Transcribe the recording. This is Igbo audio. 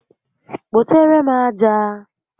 Kpotere m aja!